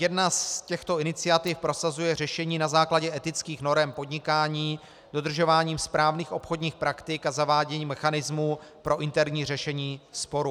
Jedna z těchto iniciativ prosazuje řešení na základě etických norem podnikání dodržováním správných obchodních praktik a zaváděním mechanismu pro interní řešení sporu.